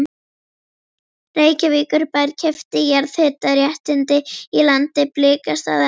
Reykjavíkurbær keypti jarðhitaréttindi í landi Blikastaða.